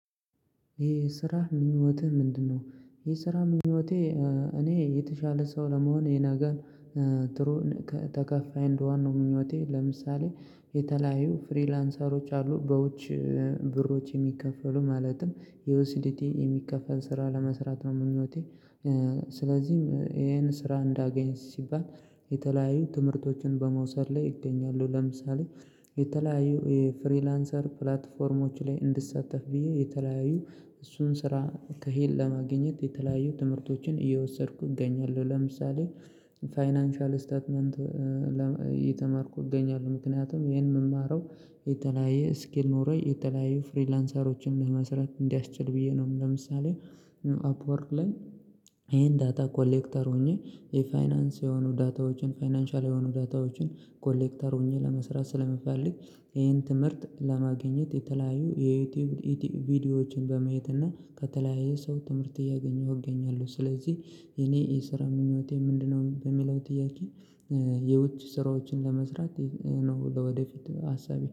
የ ስራህ ምኞቴ ምንድነው? ይሄ ስራ ምኞቴ እኔ የተሻለ ሰው ለመሆን የናገር ትሩን ተከፋይ እንደዋን ነው ምኞቴ ለምሳሌ የተለያዩ ፍሪላንሰሮች አሉ በውጭ ብሮች የሚከፈሉ ማለትም የዩሲዲቲ የሚከፈል ስራ ለመስራት ነው ምኞቴ። ስለዚህም ይሄን ስራ እንዳገኝ ሲባል የተለያዩ ትምህርቶችን በመውሰድ ላይ ይገኛሉ ለምሳሌ የተለያዩ የፍሪላንሰር ፕላትፎርሞች ላይ እንድትሳተፍ ብዬ የተለያዩ እሱን ስራ ከሄድ ለማግኘት የተለያዩ ትምህርቶችን እየወሰድኩ እገኛለሁ ለምሳሌ ፋይናንሻል ስታትመንት የተመረኩ እገኛለሁ ምክንያቱም ይሄን የምማረው የተለያየ ስኪል ኖሮይ የተለያዩ ፍሪላንሰሮችን ለመስራት እንዲያስችል ብዬ ነው። ለምሳሌ አፕወርክ ላይ ይሄን ዳታ ኮሌክተር ሆኜ የፋይናንስ የሆኑ ዳታዎችን ፋይናንሻል የሆኑ ዳታዎችን ኮሌክተር ሆኜ ለመስራት ስለምፈልግ ይሄን ትምህርት ለማግኘት የተለያዩ የዩቲዩብ ቪዲዮዎችን በመየት እና ከተለያየ ሰው ትምህርት እያገኘሁ እገኛለሁ ስለዚህ። የኔ የስራ ምኞቴ ምንድነው በሚለው ጥያቄ የውጭ ስራዎችን ለመስራት ነው ለወደፊት ሀሳቤ